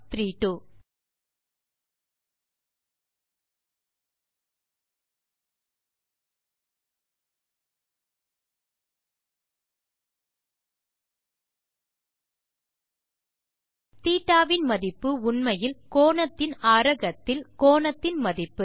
θ இன் மதிப்பு உண்மையில் கோணத்தின் ஆரகத்தில் கோணத்தின் மதிப்பு